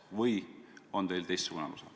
Või on teil teistsugune arusaam?